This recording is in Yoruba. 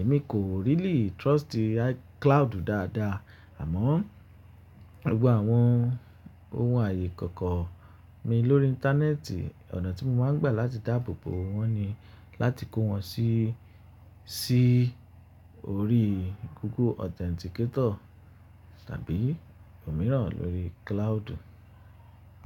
Èmi kò really trust iCloud dáadáa. Àmọ́, gbogbo àwọn ohun ààyè ìkọ̀kọ̀ mi lórí íńtánẹ́ẹ̀tì, ọ̀nà tí mo máa ń gbà láti dáàbò bo wọ́n ni láti kó wọn sí, sí orí Google Authenticator tàbí òmíràn lórí cloud.